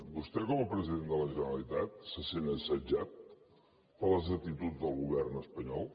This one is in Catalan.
vostè com a president de la generalitat se sent assetjat per les actituds del govern espanyol